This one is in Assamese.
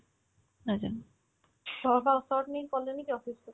ঘৰৰ পৰা ওচৰতে নে colony তে office টো